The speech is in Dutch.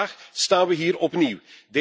Vandaag staan we hier opnieuw.